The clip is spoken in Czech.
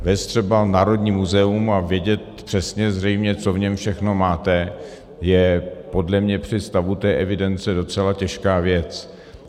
Vést třeba Národní muzeum a vědět přesně zřejmě, co v něm všechno máte, je podle mě při stavu té evidence docela těžká věc.